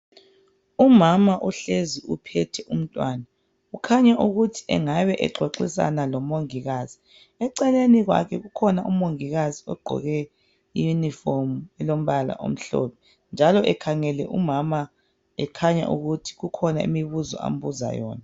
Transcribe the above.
Umama uhlezi uphethe umntwana kukhanya ukuthi engabe exoxisana lomongikazi eceleni kwakhe ukhona umongikazi ogqoke i yunifomu elompala omhlophe njalo ekhangele umama ekhanya ukuthi kukhona imibuzo ambuza yona.